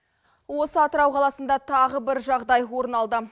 осы атырау қаласында тағы бір жағыдай орын алды